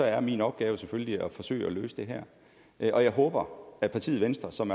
er min opgave selvfølgelig at forsøge at løse det her og jeg håber at partiet venstre som